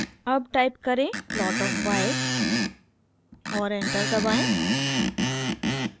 अब टाइप करें plot of y और एंटर दबाएं